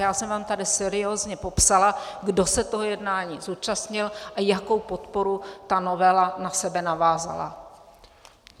Já jsem vám tady seriózně popsala, kdo se toho jednání zúčastnil a jakou podporu ta novela na sebe navázala.